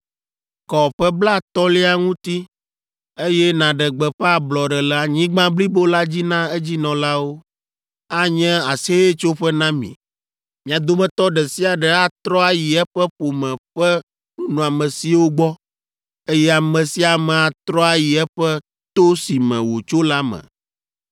Kɔ ƒe blatɔ̃lia ŋuti, eye nàɖe gbeƒã ablɔɖe le anyigba blibo la dzi na edzinɔlawo. Anye Aseyetsoƒe na mi. Mia dometɔ ɖe sia ɖe atrɔ ayi eƒe ƒome ƒe nunɔamesiwo gbɔ, eye ame sia ame atrɔ ayi eƒe to si me wòtso la me.